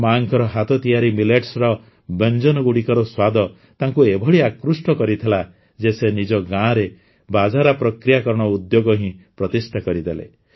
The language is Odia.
ମାଙ୍କ ହାତତିଆରି ମିଲେଟ୍ସର ବ୍ୟଞ୍ଜନଗୁଡ଼ିକର ସ୍ୱାଦ ତାଙ୍କୁ ଏଭଳି ଆକୃଷ୍ଟ କରିଥିଲା ଯେ ସେ ନିଜ ଗାଁରେ ବାଜରା ପ୍ରକ୍ରିୟାକରଣ ଉଦ୍ୟୋଗ ହିଁ ପ୍ରତିଷ୍ଠା କରିଦେଲେ